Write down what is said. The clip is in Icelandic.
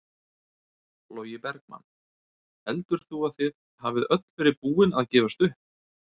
Logi Bergmann: Heldur þú að þið hafið öll verið búin að gefast upp?